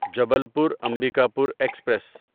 Jabalpur Ambikapur express